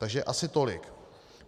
Takže asi tolik.